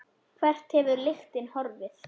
Hvert hefur öll lyktin horfið?